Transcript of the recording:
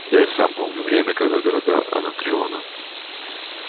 да я сам помню время когда города анакреона